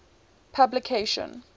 publication